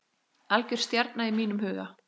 Algjör stjarna í mínum huga.